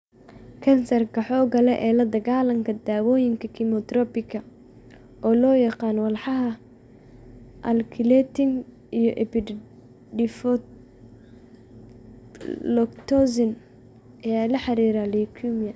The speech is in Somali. Kansarka xoogga leh ee la dagaallanka daawooyinka kiimoterabiga, oo loo yaqaan walxaha alkylating iyo epipodophyllotoxins, ayaa lala xiriiriyay leukemia.